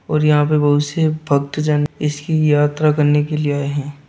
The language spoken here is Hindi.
और यहां पे बहुत से भक्त जन इसकी यात्रा करने के लिए आए है।